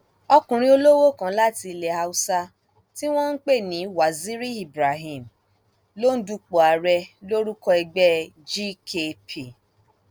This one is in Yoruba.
ọkùnrin olówó kan láti ilẹ haúsá tí wọn ń pè ní waziri ibrahim ló ń dupò ààrẹ lórúkọ ẹgbẹ gkp